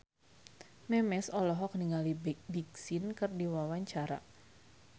Memes olohok ningali Big Sean keur diwawancara